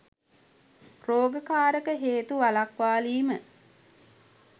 රෝග කාරක හේතු වළක්වාලීම